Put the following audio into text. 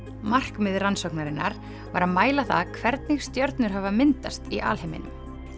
markmið rannsóknarinnar var að mæla það hvernig stjörnur hafa myndast í alheiminum